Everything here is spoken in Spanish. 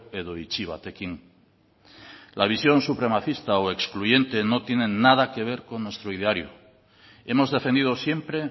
edo itxi batekin la visión supremacista o excluyente no tiene nada que ver con nuestro ideario hemos defendido siempre